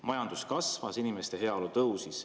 Majandus kasvas, inimeste heaolu tõusis.